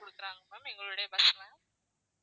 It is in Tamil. கொடுக்குறாங்க ma'am எங்களோட bus ல